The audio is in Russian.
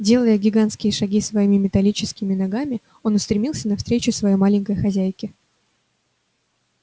делая гигантские шаги своими металлическими ногами он устремился навстречу своей маленькой хозяйке